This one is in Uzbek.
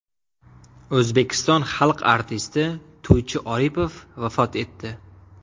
O‘zbekiston xalq artisti To‘ychi Oripov vafot etdi.